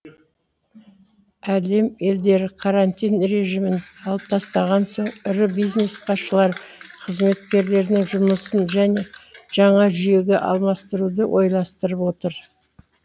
әлем елдері карантин режимін алып тастаған соң ірі бизнес басшылары қызметкерлерінің жұмысын жаңа жүйеге алмастыруды ойластырып отыр